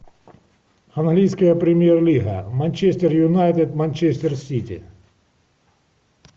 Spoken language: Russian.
английская премьер лига манчестер юнайтед манчестер сити